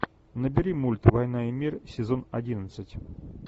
набери мульт война и мир сезон одиннадцать